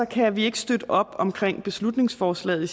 kan vi ikke støtte op omkring beslutningsforslaget i